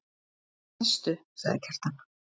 Sestu, sagði Kjartan.